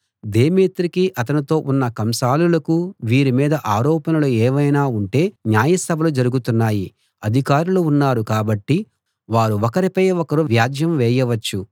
దేమేత్రికీ అతనితో ఉన్న కంసాలులకూ వీరి మీద ఆరోపణలు ఏవైనా ఉంటే న్యాయసభలు జరుగుతున్నాయి అధికారులు ఉన్నారు కాబట్టి వారు ఒకరిపై ఒకరు వ్యాజ్యం వేయవచ్చు